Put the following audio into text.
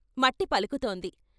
మట్టి పలుకుతోంది.